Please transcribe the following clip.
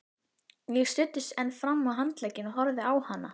Ég studdist enn fram á handlegginn og horfði á hana.